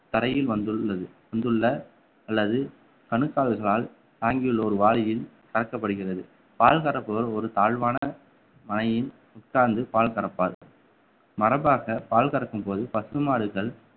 தரையில் வந்துள்ளது வந்துள்ள அல்லது கணுக்கால்களால் தாங்கியுள்ள ஒரு வாளியில் கறக்கப்படுகிறது பால் கறப்பவர் ஒரு தாழ்வான மனையில் உட்கார்ந்து பால் கறப்பார் மரபாக பால் கறக்கும் போது பசுமாடுகள்